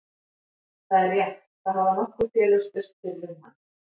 Það er rétt, það hafa nokkur félög spurst fyrir um hann.